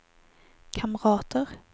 kamrater